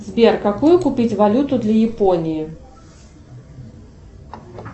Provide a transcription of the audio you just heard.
сбер какую купить валюту для японии